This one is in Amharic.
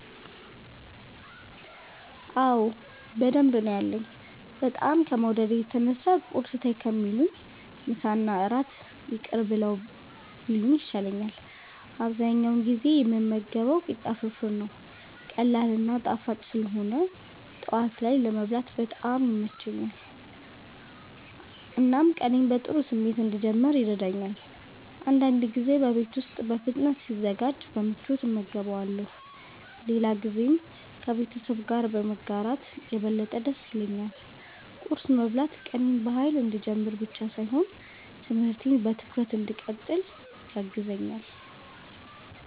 አዎ በደንብ ነው ያለኝ፤ በጣም ከመውደዴ የተነሳ ቁርስ ተይ ከሚሉኝ ምሳና እራት ይቅር ብለው ቢሉኝ ይሻላል። አብዛኛውን ጊዜ የምመገበው ቂጣ ፍርፍር ነው። ቀላል እና ጣፋጭ ስለሆነ ጠዋት ላይ ለመብላት በጣም ይመቸኛል፣ እናም ቀኔን በጥሩ ስሜት እንድጀምር ይረዳኛል። አንዳንድ ጊዜ በቤት ውስጥ በፍጥነት ሲዘጋጅ በምቾት እመገበዋለሁ፣ ሌላ ጊዜም ከቤተሰብ ጋር በማጋራት የበለጠ ደስ ይለኛል። ቁርስ መብላት ቀኔን በኃይል እንድጀምር ብቻ ሳይሆን ትምህርቴን በትኩረት እንድቀጥል ያግዘኛል።